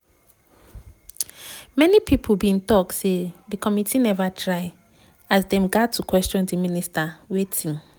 many pipo bin tok say di committee neva try as dem gat to question di minister wetin